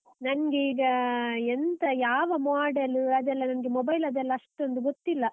ನಂಗೀಗ, ಎಂತ ಯಾವ model ಅದೆಲ್ಲ ನಂಗೆ mobile ದೆಲ್ಲ ಅಷ್ಟೊಂದ್ ಗೊತ್ತಿಲ್ಲ.